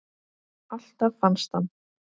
Alltaf fannst hann.